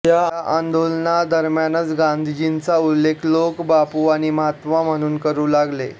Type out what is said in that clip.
या आंदोलनादरम्यानच गांधीजींचा उल्लेख लोक बापू आणि महात्मा म्हणून करू लागले